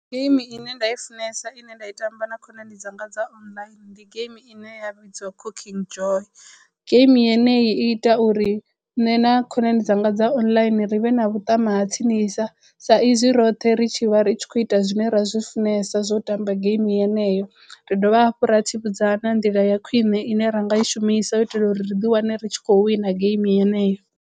Geimi ine nda i funesa ine nda i tamba na khonani dzanga dza online ndi game ine ya vhidzwa Cooking Joy. Game yene i ita uri nṋe na khonani dzanga dza online ri vhe na vhuṱama ha tsini isa sa izwi roṱhe ri tshi vha ri tshi khou ita zwine ra zwi funesa zwo tamba geimi yeneyo. Ri dovha hafhu ra tsivhudza na nḓila ya khwine ine ra nga i shumisa u itela uri ri ḓi wane ri tshi khou wina geimi yeneyo.